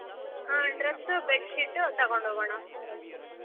ಹ್ಮ್ dress bed sheet ತಗೊಂಡ್ ಹೋಗೋಣ.